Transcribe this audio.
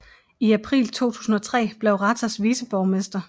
I april 2003 blev Ratas viceborgmester